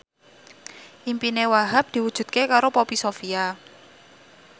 impine Wahhab diwujudke karo Poppy Sovia